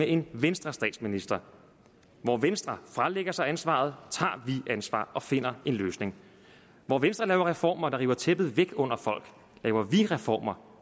en venstrestatsminister hvor venstre fralægger sig ansvaret tager vi ansvar og finder en løsning hvor venstre laver reformer der river tæppet væk under folk laver vi reformer